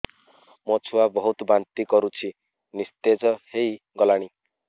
ମୋ ଛୁଆ ବହୁତ୍ ବାନ୍ତି କରୁଛି ନିସ୍ତେଜ ହେଇ ଗଲାନି